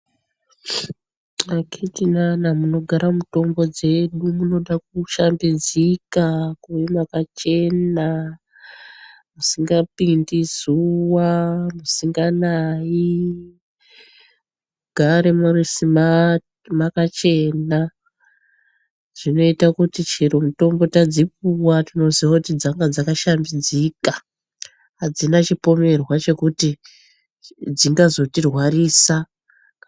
Akhitinana munogara mutombo dzedu munoda kushambidzika kuve makachena, musingapindi zuva, musinganai. Mugare muri simati, makachena. Zvinoita kuti chero mutombo tadzipuwa tinoziye kuti. dzanga dzakashambidzika, hadzina chipomerwa chekuti dzingazotirwarisa.